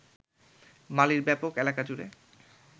মালির ব্যাপক এলাকা জুড়ে